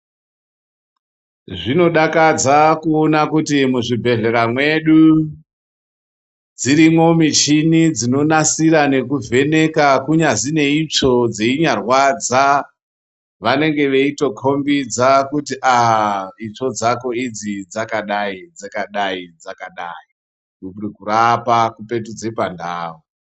Zvinodakadza kuona kuti muzvibhedhlera mwedu dzirimwo mishini dzinonasira nekuvheneka kunyangwe neitsvo dzeinyarwadza vanenge veitokukhombidza kuti aaah itsvo dzako idzi dzakadayi, dzakadayi dzikadayi ,veikurapa kudzipetudza pandau.